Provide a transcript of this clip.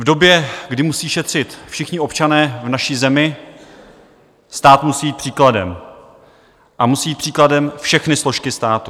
V době, kdy musí šetřit všichni občané v naší zemi, stát musí jít příkladem a musí jít příkladem všechny složky státu.